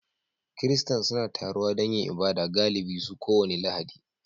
Kiristan suna taruwa don yin ibada galibi su kowace Lahadi